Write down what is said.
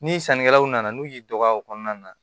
Ni sannikɛlaw nana n'u y'i dɔgɔya o kɔnɔna na